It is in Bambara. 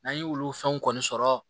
N'an ye olu fɛnw kɔni sɔrɔ